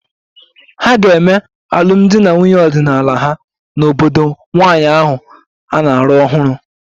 A ga-eme alụmdi na nwunye ọdịnala ha n'obodo nwanyị ahụ na-alụ ọhụrụ